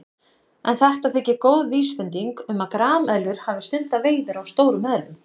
En þetta þykir góð vísbending um að grameðlur hafi stundað veiðar á stórum eðlum.